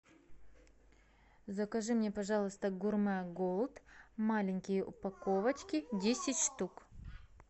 закажи мне пожалуйста гурмэ голд маленькие упаковочки десять штук